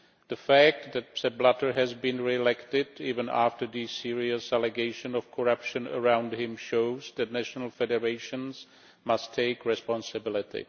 The fact that Sepp Blatter has been re elected, even after the serious allegations of corruption around him, shows that national federations must take responsibility.